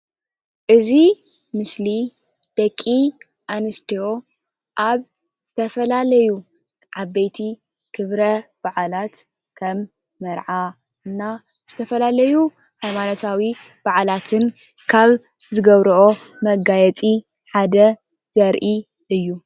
እዚ ምስሊ ደቂ ኣንስትዮ ኣብ ዝተፈላለዩ ዓበይቲ ክብረ በዓላት ከም መርዓ እና ዝተፈላለዩ ሃይማኖታዊ በዓላትን ካብ ዝገብርኦ መጋየፂ ሓደ ዘርኢ እዩ።